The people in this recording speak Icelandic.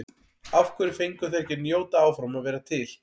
Af hverju fengu þeir ekki að njóta áfram að vera til?